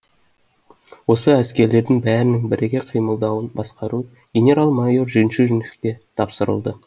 осы әскерлердің бәрінің біріге қимылдауын басқару генерал майор жемчужниковке тапсырылды